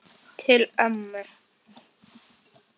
Til ömmu.